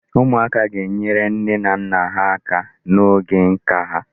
Ụmụaka ga-enyere nne na nne ha aka n'oge nka ha.